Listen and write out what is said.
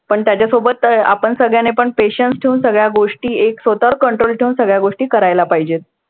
पण त्याच्यासोबत आपण सगळ्यांनीपण patience ठेवून सगळ्या गोष्टी एक स्वतःवर control ठेवून सगळ्या गोष्टी करायला पाहिजेत.